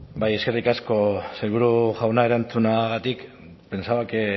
bai eskerrik asko sailburu jauna erantzunagatik pensaba